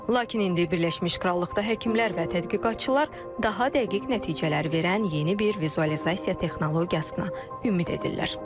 Lakin indi Birləşmiş Krallıqda həkimlər və tədqiqatçılar daha dəqiq nəticələr verən yeni bir vizualizasiya texnologiyasına ümid edirlər.